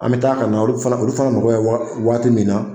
An be taa a ka na olu fana mako bɛ wagati min na